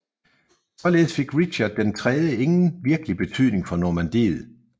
Således fik Richard III ingen virkelig betydning for Normandiet